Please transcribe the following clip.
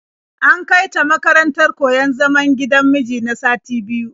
An kai ta makarantar koyon zaman gidan miji na sati biyu.